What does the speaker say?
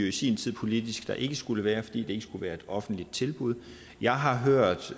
i sin tid politisk at der ikke skulle være det fordi det ikke skulle være et offentligt tilbud jeg har hørt